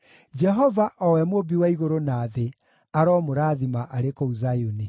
Jehova, o we Mũũmbi wa igũrũ na thĩ aromũrathima arĩ kũu Zayuni.